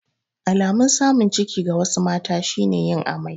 Alamun samun ciki ga wasu mata shi ne yin amai.